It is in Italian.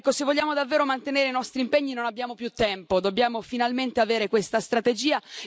Se vogliamo davvero mantenere i nostri impegni non abbiamo più tempo, dobbiamo finalmente avere questa strategia.